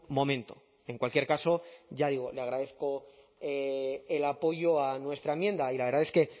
momento en cualquier caso ya digo le agradezco el apoyo a nuestra enmienda y la verdad es que